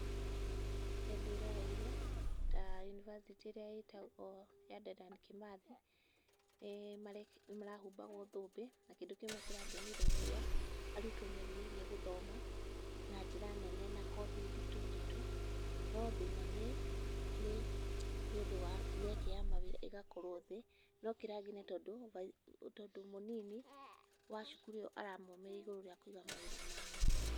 Nĩndĩroneire ta yunivasĩtĩ ĩrĩa ya ĩtagwo Dedan Kĩmathi nĩmarahumbagwo thũmbĩ na kĩndũ kĩmwe kĩrangenirie, arutwo nĩmerirĩirie gũthoma na njĩra nene na kothi nditũ nditũ.No thĩna nĩ mĩeke ya mawĩra ĩgakorwo thĩ.No kĩrangenirie tondũ mũnini wa cukuru ĩyo aramomĩrĩirie igũrũ wa kũiga mawĩra mao.